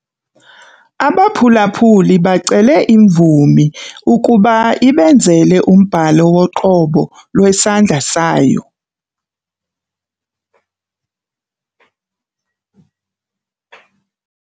Abaphulaphuli bacele imvumi ukuba ibenzele umbhalo woqobo lwesandla sayo.